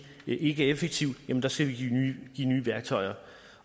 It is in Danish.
ikke er effektiv skal vi give nye værktøjer